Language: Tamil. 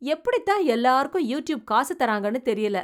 எப்படி தான் எல்லாருக்கும் யூடியூப் காசு தராங்கன்னு தெரியல !